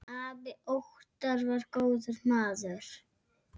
Afi Óttar var góður maður.